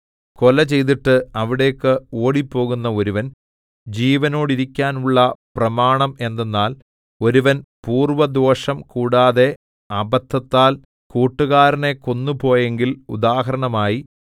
കൊല ചെയ്തിട്ട് അവിടേക്ക് ഓടിപ്പോകുന്ന ഒരുവൻ ജീവനോടിരിക്കാനുള്ള പ്രമാണം എന്തെന്നാൽ ഒരുവൻ പൂർവ്വദ്വേഷം കൂടാതെ അബദ്ധത്താൽ കൂട്ടുകാരനെ കൊന്നുപോയെങ്കിൽ ഉദാഹരണമായി